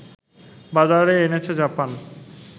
বাজারে এনেছে জাপান